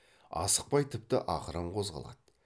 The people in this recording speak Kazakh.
асықпай тіпті ақырын қозғалады